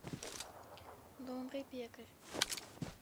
добрый пекарь